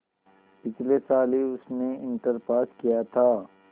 पिछले साल ही उसने इंटर पास किया था